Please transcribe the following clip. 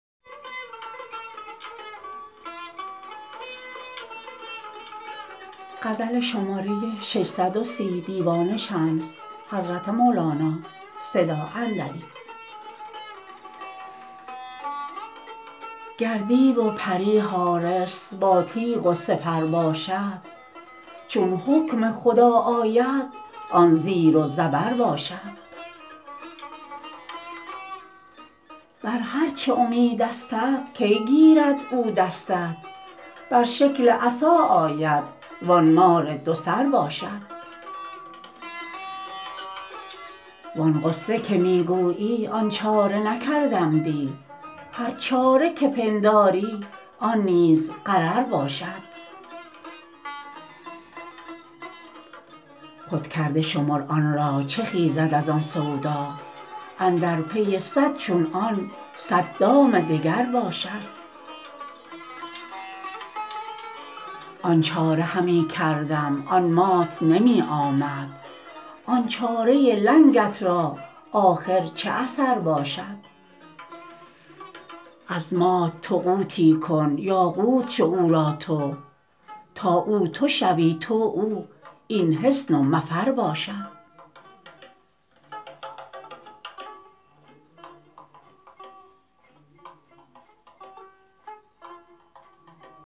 گر دیو و پری حارس باتیغ و سپر باشد چون حکم خدا آید آن زیر و زبر باشد بر هر چه امیدستت کی گیرد او دستت بر شکل عصا آید وان مار دوسر باشد وان غصه که می گویی آن چاره نکردم دی هر چاره که پنداری آن نیز غرر باشد خودکرده شمر آن را چه خیزد از آن سودا اندر پی صد چون آن صد دام دگر باشد آن چاره همی کردم آن مات نمی آمد آن چاره لنگت را آخر چه اثر باشد از مات تو قوتی کن یا قوت شو او را تو تا او تو شوی تو او این حصن و مفر باشد